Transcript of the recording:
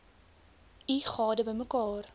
u gade bymekaar